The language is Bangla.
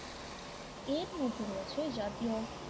এরমধ্যে রয়েছে জাতীয়